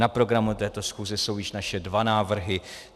Na programu této schůze jsou již naše dva návrhy.